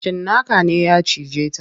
Cinnaka ne ya cije ta.